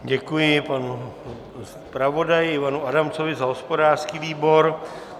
Děkuji panu zpravodaji Ivanu Adamcovi za hospodářský výbor.